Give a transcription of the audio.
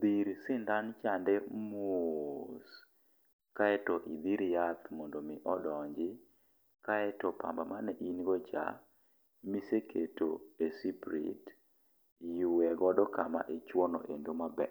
dhir sindan chande mos. Kaeto idhir yath mondo imi odonji. Kaeto pamba mane in go cha iseketo e siprit, ywe godo kama ichwo no endo maber.